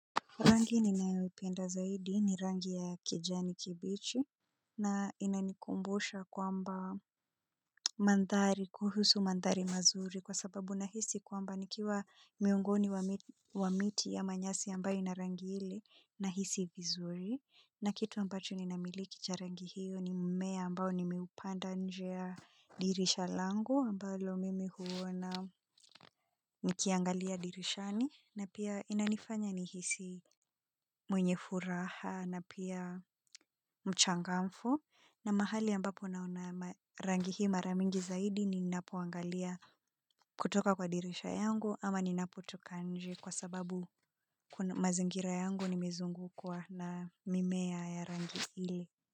Rangi ninayo ipenda zaidi ni rangi ya kijani kibichi na inanikumbusha kwamba mandhari kuhusu mandhari mazuri kwa sababu nahisi kwamba nikiwa miungoni wa miti ya manyasi ambayo ina rangi ile nahisi vizuri. Na kitu ambacho ninamiliki cha rangi hiyo ni mmea ambao nimiupanda nje ya dirisha langu ambalo mimi huona nikiangalia dirishani. Na pia inanifanya nihisi mwenye furaha na pia mchangamfu. Na mahali ambapo naona rangi hii mara mingi zaidi ni ninapoangalia kutoka kwa dirisha yangu. Ama ninapo toka nje kwa sababu kuna mazingira yangu nimezungukwa na mimea ya rangi hili.